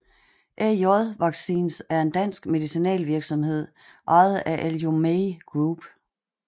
AJ Vaccines er en dansk medicinalvirksomhed ejet af Aljomaih Group